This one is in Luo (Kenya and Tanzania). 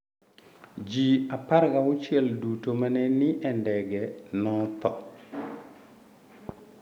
Ji 16 duto ma ne ni e ndege notho.